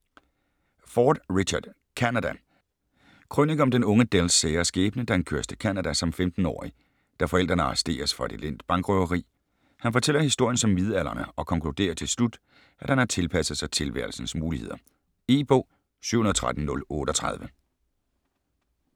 Ford, Richard: Canada Krønike om den unge Dells sære skæbne, da han køres til Canada som 15-årig, da forældrene arresteres for et elendigt bankrøveri. Han fortæller historien som midaldrende, og konkluderer til slut, at han har tilpasset sig tilværelsens muligheder. E-bog 713038 2013.